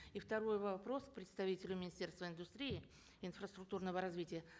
и второй вопрос к представителю министерства индустрии инфраструктурного развития